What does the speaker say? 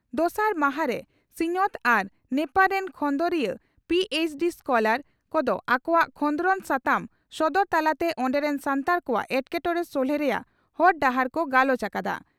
ᱫᱚᱥᱟᱨ ᱢᱟᱦᱟᱨᱮ ᱥᱤᱧᱚᱛ ᱟᱨ ᱱᱮᱯᱟᱲ ᱨᱮᱱ ᱠᱷᱚᱸᱫᱽᱨᱚᱫᱤᱭᱟᱹ (ᱯᱤᱹᱮᱪᱹᱰᱤᱹ ᱥᱠᱚᱞᱟᱨ) ᱠᱚᱫᱚ ᱟᱠᱚᱣᱟᱜ ᱠᱷᱚᱸᱫᱽᱨᱚᱱ ᱥᱟᱛᱟᱢ ᱥᱚᱫᱚᱨ ᱛᱟᱞᱟᱛᱮ ᱚᱸᱰᱮ ᱨᱮᱱ ᱥᱟᱱᱛᱟᱲ ᱠᱚᱣᱟᱜ ᱮᱴᱠᱮᱴᱚᱬᱮ ᱥᱚᱞᱦᱮ ᱨᱮᱭᱟᱜ ᱦᱚᱨ ᱰᱟᱦᱟᱨ ᱠᱚ ᱜᱟᱞᱚᱪ ᱟᱠᱟᱫᱼᱟ ᱾